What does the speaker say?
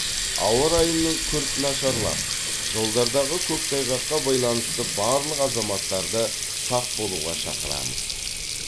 ауа райының күрт нашарлап жолдардағы көктайғаққа байланысты барлық азаматтарды сақ болуға шақырамыз